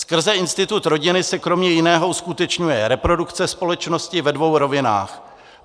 Skrze institut rodiny se kromě jiného uskutečňuje reprodukce společnosti ve dvou rovinách.